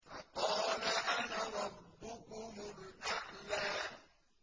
فَقَالَ أَنَا رَبُّكُمُ الْأَعْلَىٰ